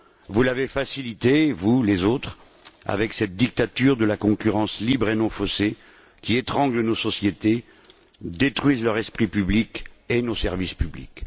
Vous l'avez facilitée, vous, les autres, avec cette dictature de la concurrence libre et non faussée, qui étrangle nos sociétés, détruit leur esprit public et nos services publics.